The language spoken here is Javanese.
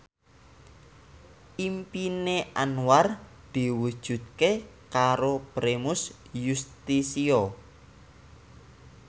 impine Anwar diwujudke karo Primus Yustisio